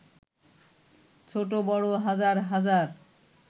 ছোট-বড় হাজার হাজার